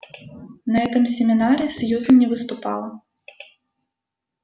на этом семинаре сьюзен не выступала